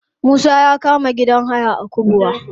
Musa ya kama gidan haya a kubwa.